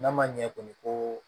N'a ma ɲɛ kɔni ko